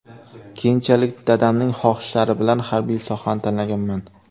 Keyinchalik dadamning xohishlari bilan harbiy sohani tanlaganman.